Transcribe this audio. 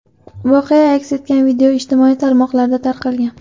Voqea aks etgan video ijtimoiy tarmoqlarda tarqalgan.